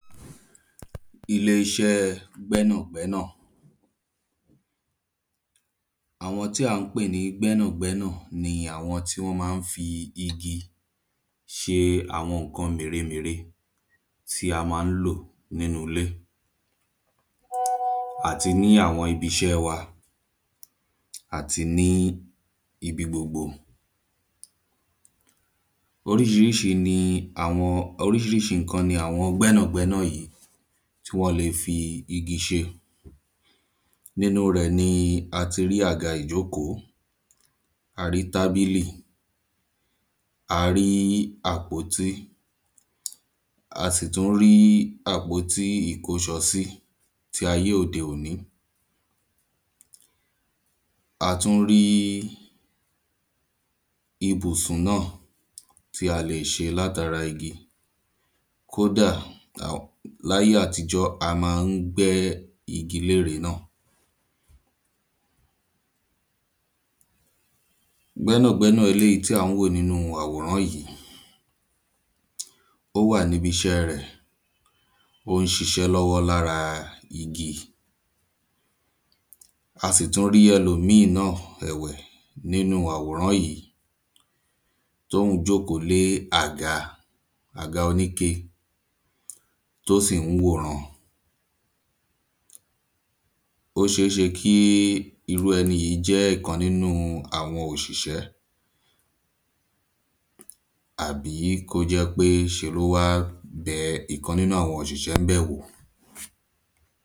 Ilé iṣẹ́ gbẹ́nàgbẹ́nà Àwọn tí à ń pè ní gbẹ́nàgbẹ́nà ni àwọn tí wọ́n máa ń fi igi ṣe àwọn nǹkan mèremère tí a máa ń lò nínú ilé Àti ní àwọn ibiṣẹ́ wa àti ní ibi gbogbo Oríṣiríṣi ni àwọn oríṣiríṣi nǹkan ni àwọn gbẹ́nàgbẹ́nà yìí tí wọn lè fi igi ṣe Nínú rẹ̀ ni a tí rí àga ìjókòó A rí tábílì A rí àpótí A sì tún rí àpótí ìkóṣọsí ti ayé òde òní A tún rí ìbùsùn náà tí a lè ṣe láti ara igi Kódà um ní ayé àtijọ́ a máa ń gbẹ́ igi ní ère náà Gbẹ́nàgbẹ́nà eléyì tí à ń wò nínú àwòrán yìí Ó wà ní ibi iṣẹ́ rẹ̀ ó ń ṣiṣẹ́ lọ́wọ́ ní ara igi A sì tú rí ẹlòmíì náà ẹ̀wẹ̀ nínú àwòrán yìí tí òhun jókòó lé àga àga oníke tí ó sì ń wo ìran Ó ṣeé ṣe kí irú ẹni yìí jẹ́ ìkan nínú àwọn oṣiṣẹ́ Àbí kí ó jẹ́ pé ṣe ni ó wa bẹ ìkan nínú àwọn òṣìṣẹ́ ń bẹ̀ wò